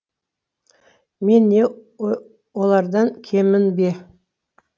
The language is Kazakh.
мен не олардан кеммін бе